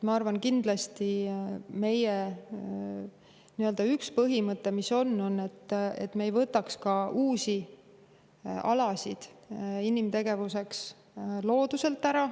Ma arvan, et meie üks põhimõte on kindlasti see, et me ei võtaks looduselt ära uusi alasid inimtegevuse jaoks.